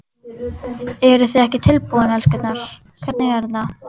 Eruð þið ekki tilbúin, elskurnar, hvernig er þetta?